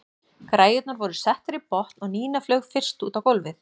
Græjurnar voru settar í botn og Nína flaug fyrst út á gólfið.